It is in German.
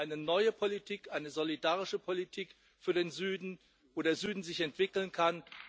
Wir brauchen eine neue Politik eine solidarische Politik für den Süden, damit der Süden sich entwickeln kann.